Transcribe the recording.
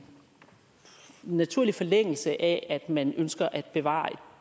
naturlig forlængelse af at man ønsker at bevare et